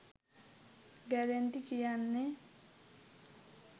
ගැරඬි කියන්නෙ